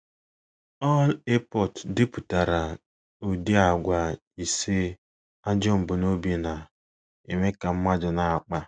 Allport depụtara ụdị àgwà ise ajọ mbunobi na - eme ka mmadụ na - akpa.